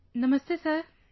Namaste Sir |